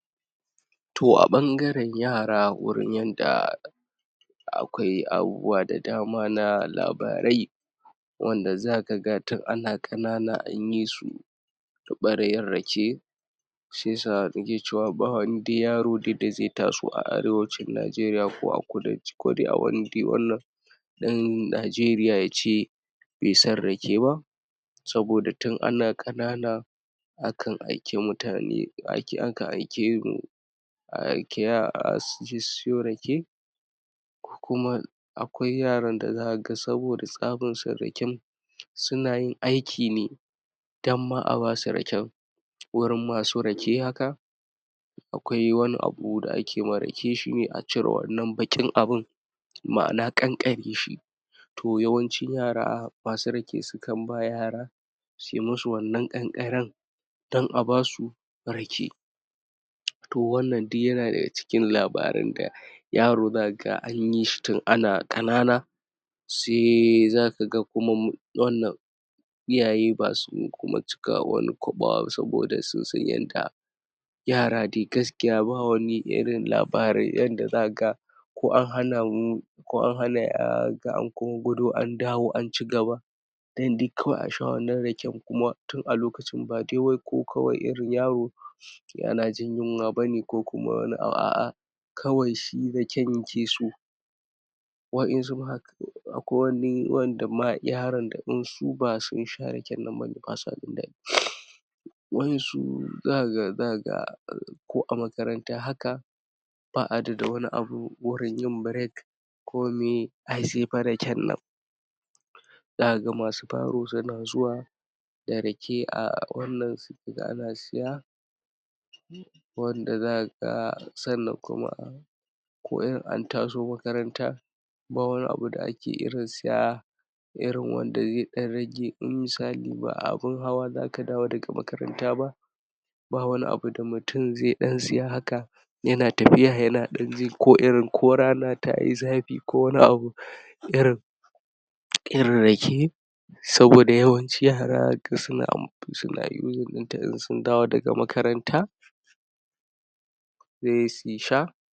To a ɓangaran yara wuri yadda akwai abubuwa da dama na labarai wanda za ka ga tun ana ƙanana an yi su ɓaryar rake shi ya sa ake cewa ba wani yaro da zai taso a Arewacin Najeriya ko a kudanci ko a wani dai wannan ɗan Najeriya ya ce bai san rake ba saboda tun ana ƙanana a kan aiki mutane ake aikan mu a aiki yara su je su siyo rake kuma akwai yaran da zaka ga saboda tsabar san raken suna yin aiki ne dan ma a basu raken wajen masu rake haka akwai wani abu da ake ma rake shi ne a cirewannan baƙin abun ma'ana kankare shi ko yawanci yara masu rake sukan ba yara sui musu wannan kankaren dan a basu rake to wannan duk yana da ga cikin labarin da yaro zaka ga an yi shi tun ana ƙanana sai zaka ga kuma wannan iyaye ba su kuma cika wani kwaɓa ba saboda sun san yadda yara dai gaskiya ba wani irin labarin yadda zaka ga ko an hana mu ko an hana zaka ga an gudo an dawo an ci gaba dan dai duk kawai a sha raken kuma tun lokacin ba wai kokawar irin yaro yana jin yunwa ba ne ko kuma wani a'a kawai shi raken yake so wa ƴansu ma haka akwai wani wa ƴanda ma yaran da in ba su sha raken nan ba sa jin daɗi waɗansu zaka ga zaka ga ko a makaranta haka ba a da wani abu wurin yi (break) komai ai sai fa raken nan zaka ga masu baro suna zuwa da rake a wannan ka ga ana siya wanda zaka ga sannan kuma a ko irin an taso makaranta ba wani abu da ake irin saya irin wanda ya ɗan rage in misali ba a abin hawa zaka dawo daka makaranta ba ba wani da mutum zai ɗan saya haka yana tafiay yana ɗan jin ko irin ko rana ta yi zafi ko wani abun irin irin rake saboda yawanci yara zaka ga suna ka ga suna (using) in sun dawo daga makaranta sai su sha